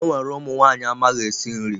Enwere ụmụ nwanyị amaghị esi nri.